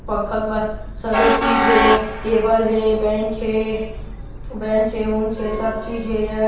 पंखा क बाद सबे चीज हे टेबल हे बेंच हे बेंच हे ऊंच हे सब चीज हे एजग--